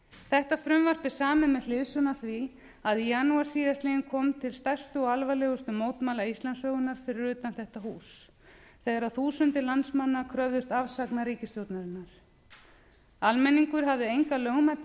þetta frumvarp er samið með hliðsjón af því að í janúar síðastliðnum kom til stærstu og alvarlegustu mótmæla íslandssögunnar fyrir utan þetta hús þegar þúsundir landsmanna kröfðust afsagnar ríkisstjórnarinnar almenningur hafði enga lögmæta